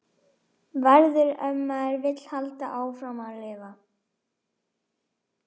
Verður- ef maður vill halda áfram að lifa.